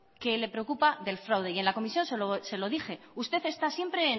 que le preocupa del fraude yen la comisión se lo dije usted está siempre en